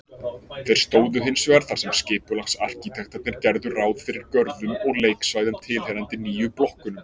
Þeir stóðu hinsvegar þar sem skipulagsarkitektarnir gerðu ráð fyrir görðum og leiksvæðum tilheyrandi nýju blokkunum.